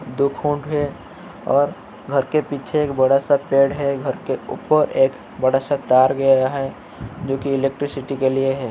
दो खूंट हेे और घर के पीछे एक बड़ा सा पेड़ है। घर के ऊपर एक बड़ा सा तार गया है जोकि इलेक्ट्रिसिटी के लिए है।